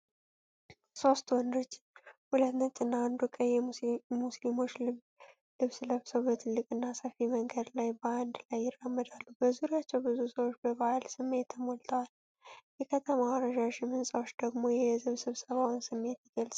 ሶስት ወንዶች፣ ሁለቱ ነጭና አንዱ ቀይ የሙስሊሞች ልብስ ለብሰው፣ በትልቅና ሰፊ መንገድ ላይ በአንድ ላይ ይራመዳሉ። በዙሪያቸው ብዙ ሰዎች በበዓል ስሜት ተሞልተዋል፤ የከተማዋ ረዣዥም ሕንፃዎች ደግሞ የሕዝብ ስብሰባውን ስሜት ይገልጻሉ።